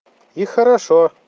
и хорошо